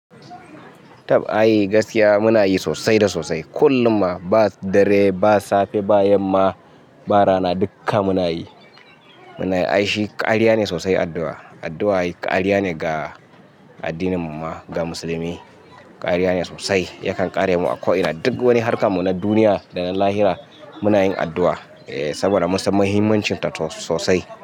Tab ai gaskiya muna yi sosai da sosai. Kullum ma, ba dare ba safe ba yamma ba rana dukka muna yi. Muna yi, ai shi ƙariya ne sosai addu'a. Addu'a ƙariya ne ga addininmu ma ga musulmi. Ƙariya ne sosai, yakan kare mu a ko ina. Duk wani harkar mu na duniya da na lahira muna yin addu'a eh saboda mun san muhimmancinta sosai.